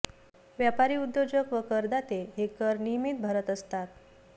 व्यापारी उद्योजक व करदाते हे कर नियमित भरत असतात